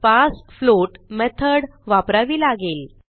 पार्सफ्लोट method वापरावी लागेल